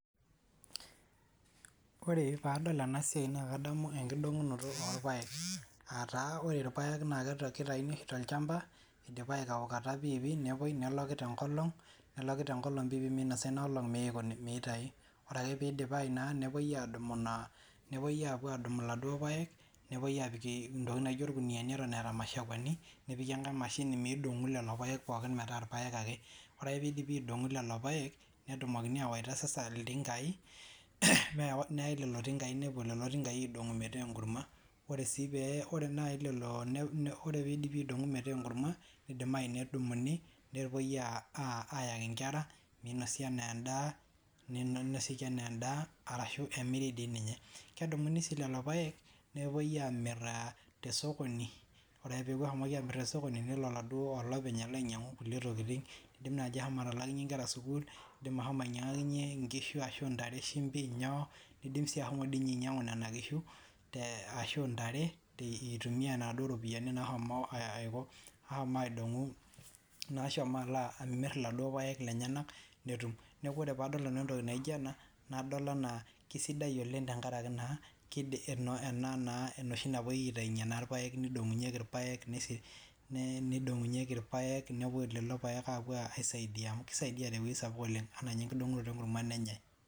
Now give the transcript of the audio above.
ore paadol ena siai, naa kadamu enkidong'unoto orpaeek, aa taa ore irpaek naa kita kitayuni oshi tolchamba idipa aikaukata pii pii, nepuoi neloki te nkolong, neloki te nkolong pi pii, meinosa ina olong meeikoni meitayu, ore ake peidipayu naa nepuoi adumu ina, nepuoi apuo adumu iladuo paeek, nepuoi apik intokiting naijo irkuniani eton eeta mushakweni, nepiki enkae mashini meidong'u lelo paek pookin metaa irpaek ake, ore ake peidipi aidong'u lelo paek netumokini awaita sasa iltingai mee neyae lelo tingai nepuo lelo tingai aidong'u metaa enkurma, ore sii pee ore naai lelo, ne ore peidipi aidong'u metaa enkurma neidimayu nedumuni nepuoi aa ayaki nkera ,neinosi enaa endaa, neinosieki enaa endaa arashu emiri dii ninye, kedumuni sii lelo paek nepuoi amir te sokoni, ore ake peeku eshomoki aamir te sokoni nelo oladuo olopeny alo ainyang'u kulie tokiting, idim naaji ashomo atalaakinye nkera sukuul, idim ashomo ainyang'akinye nkishu ashu ntare shimbi nyoo, idim sii ashomo dii ninye ainyang'u nena kishu te ashu ntare, eitumiya naduo ropiani nashomo aiko aidong'u, nashomo alaa amir lelo paek lenyenak netum, neeku ore paadol nanu entoki naijo ena nadol anaa kisidai oleng tenkaraki naa kid eno ena naa enoshi napuoi aitainye naa irpaek nidong'unyeki irpaek nisi, nee nidong'unyeki irpaek, nepuo lelo paek apuo aisaidia, amu kiaidia te wuei sapuk oleng enaa ninye enkidong'oto enkurma nenyae.